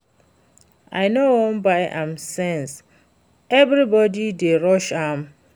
I no wan buy am since everybody dey rush am